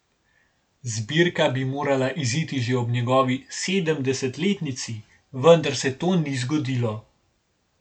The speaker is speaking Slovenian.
Zbirka bi morala iziti že ob njegovi sedemdesetletnici, vendar se to ni zgodilo.